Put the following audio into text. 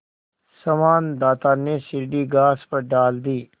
संवाददाता ने सीढ़ी घास पर डाल दी